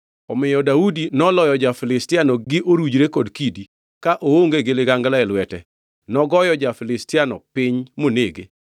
Omiyo Daudi noloyo ja-Filistiano gi orujre kod kidi; ka oonge gi ligangla e lwete nogoyo ja-Filistiano piny monege.